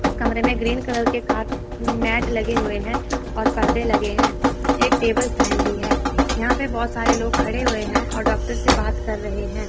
उस कमरे में ग्रीन कलर के कार मैट लगे हुए हैं और परदे लगे हैं एक टेबल फैन भी है यहां पे बहोत सारे लोग खड़े हुए हैं और डॉक्टर से बात कर रहे हैं।